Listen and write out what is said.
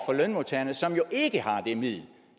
lønmodtagerne som jo ikke har det middel